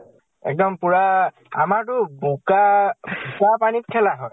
এক্দম পুৰা আমাৰটো বোকা বোকা পানীত খেলা হয়।